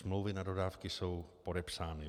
Smlouvy na dodávky jsou podepsány.